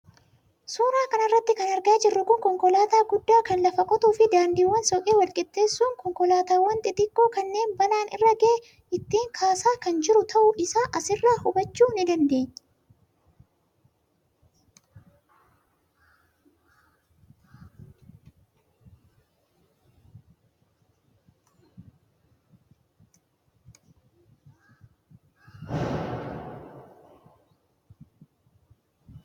suuraa kana irratti kan argaa jirru kun konkolaataa guddaa kan lafa qotuufi daandiiwwan soqee walqixxeessuun konkolaataawwan xixiqqoo kanneen balaan irra ga'e ittiin kaasaa kan jiru ta'uu isaa asirraa hubachuu ni dandeenya.